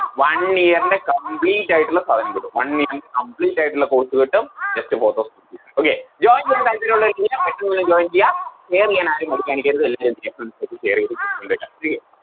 One year ൻറെ Complete ആയിട്ടുള്ള സാധനം കിട്ടും One year ൻറെ Complete ആയിട്ടുള്ള Course കിട്ടും just four thousand rupeesOkay join ചെയ്യാൻ താല്പര്യയോള്ളോര് എല്ലാ പെട്ടെന്ന് പോയി Join ചെയ്യാ share ചെയ്യാനാരും മടി കാണിക്കരുത് എല്ലാരും ചെയ്യാ Friends ആയിട്ട് Share ചെയ്തത്